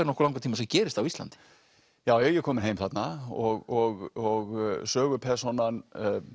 nokkuð langan tíma sem gerist á Íslandi já já ég er kominn heim þarna og sögupersónan